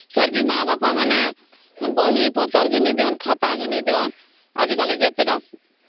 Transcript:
ଫେର ଭି ମା ବାପା ମାନେ ବହିପତ୍ର କିଣି ଦିଅ ଖାତା କିଣି ଦିଅ ଆଜି କଲି ଯେତେ ତା